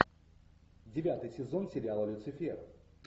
девятый сезон сериала люцифер